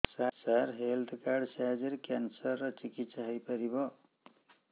ସାର health card ସାହାଯ୍ୟରେ cancer ର ଚିକିତ୍ସା ହେଇପାରିବ